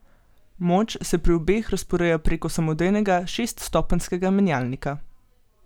Moč se pri obeh razporeja preko samodejnega šeststopenjskega menjalnika.